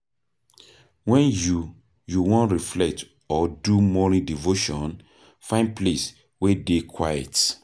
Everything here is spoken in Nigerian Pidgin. When you you wan reflect or do morning devotion, find place wey dey quiet